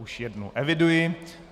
Už jednu eviduji.